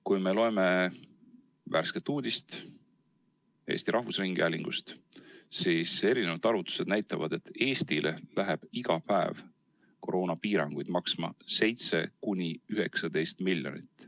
Kui me loeme värsket uudist Eesti Rahvusringhäälingust, siis erinevad arvutused näitavad, et Eestile läheb iga päev koroonapiiranguid maksma 7–19 miljonit.